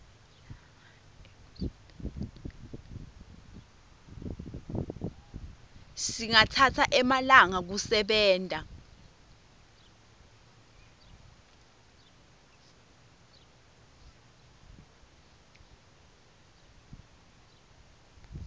singatsatsa emalanga ekusebenta